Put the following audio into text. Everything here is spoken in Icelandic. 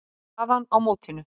Staðan á mótinu